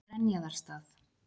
Grenjaðarstað